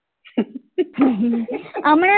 હમણાં તો